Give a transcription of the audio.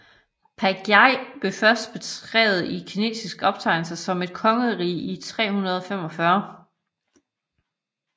Baekje bliver først beskrevet i kinesiske optegnelser som et kongerige i 345